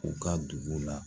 U ka dugu la